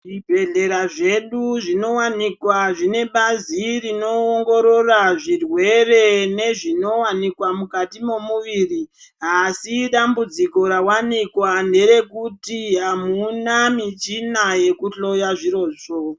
Zvibhehlera zvedu zvinowanikwa zvine bazi rinoongorora zvirwere nezvinowanikwa mukati momuviri asi dambudziko rawanaikwa nderekuti hamuna michina yekuhloya zviro zvo.